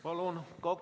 Palun!